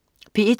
P1: